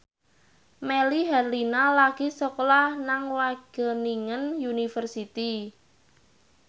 Melly Herlina lagi sekolah nang Wageningen University